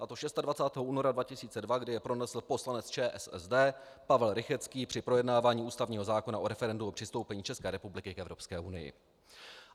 A to 26. února 2002, kdy je pronesl poslanec ČSSD Pavel Rychetský při projednávání ústavního zákona o referendu o přistoupení České republiky k Evropské unii.